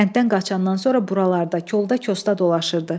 Kənddən qaçandan sonra buralarda, kolda kosda dolaşırdı.